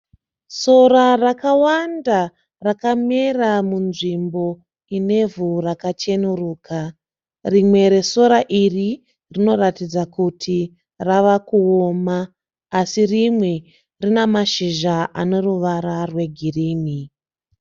Sora rakawanda rakamera munzvimbo inevhu rakachenuruka. Rimwe resora iri rinoratidza kuti rava kuoma asi rimwe rina mashizha ane ruvara rwegirini.